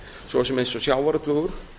svo sem eins og sjávarútvegur